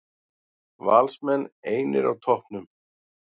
Valsmenn einir á toppnum